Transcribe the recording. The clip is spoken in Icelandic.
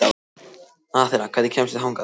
Aþena, hvernig kemst ég þangað?